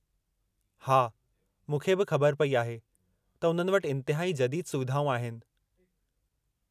हा, मूंखे बि ख़बर पई आहे त उन्हनि वटि इंतहाई जदीदु सुविधाऊं आहिनि।